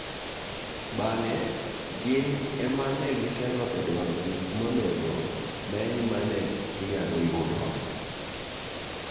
Bang'e gin ema ne gitelo edwaro gik monego meny mane ginyalo yudo.